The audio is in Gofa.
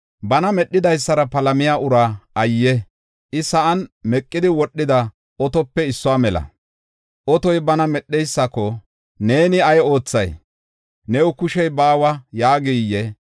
Bana Medhidaysara palamiya uraa ayye! I sa7an meqidi wodhida otope issuwa mela. Otoy bana medheysako, Neeni, “Ay oothay?” “New kushey baawa” yaagiyee?